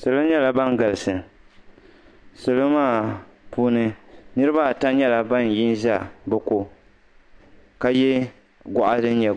Salo nyɛla ban galisi salo maa puuni niriba ata nyɛla ban yi n-za bɛ ko ka ye gɔɣa din nyɛ